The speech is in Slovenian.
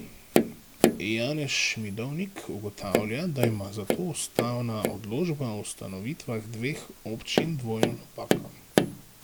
Janez Šmidovnik ugotavlja, da ima zato ustavna odločba o ustanovitvah dveh občin dvojno napako.